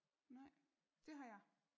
Nej det har jeg